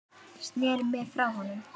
Sneri mér frá honum.